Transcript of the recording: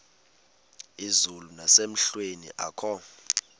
izulu nasemehlweni akho